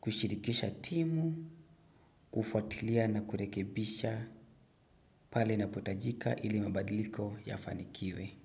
kushirikisha timu, kufuatilia na kurekebisha pale inapotajika ili mabadiliko yafanikiwe.